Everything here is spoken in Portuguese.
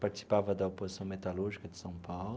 Participava da oposição metalúrgica de São Paulo.